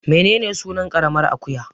Menene sunan ƙaramar akuya